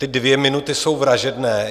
Ty dvě minuty jsou vražedné.